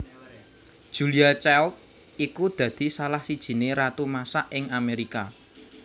Julia Child iku dadi salah sijiné ratu masak ing Amerika